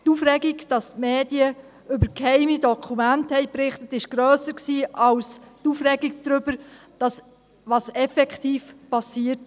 Die Aufregung, dass die Medien über geheime Dokumente berichtet hatten, war grösser als die Aufregung über das, was effektiv geschehen war.